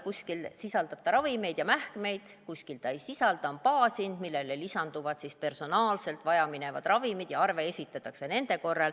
Kuskil sisaldab ta ravimeid ja mähkmeid, kuskil ta ei sisalda, on baashind, millele lisanduvad siis vajaminevad ravimid ja nende kohta esitatakse arve.